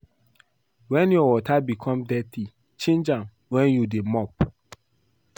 Wen your water become dirty change am wen you dey mop